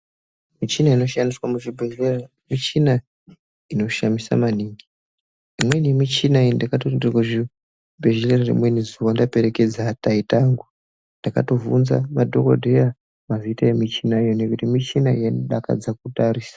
Michina inoshandiswa muzvibhehlera michina inoshamisa maningi. Imweni michina iyi ndakatoti ndirikuzvibhehlera rimweni zuwa ndaperekedza taita angu ndakatovhunza madhokodheya mazita emichina iyoyo ngekuti michina yaidakadza kutarisa.